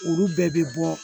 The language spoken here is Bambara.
Olu bɛɛ bɛ bɔ